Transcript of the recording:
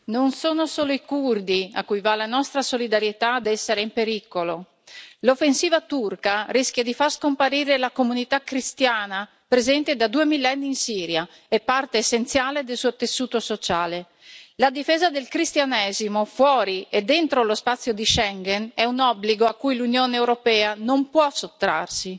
Signora Presidente, onorevoli colleghi, non sono solo i curdi, a cui va la nostra solidarietà, ad essere in pericolo. L'offensiva turca rischia di far scomparire la comunità cristiana presente da due millenni in Siria e parte essenziale del suo tessuto sociale. La difesa del Cristianesimo fuori e dentro lo spazio di Schengen è un obbligo a cui l'Unione europea non può sottrarsi.